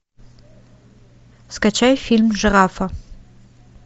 скачай фильм жирафа